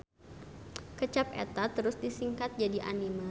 Kecap eta terus disingkat jadi anime.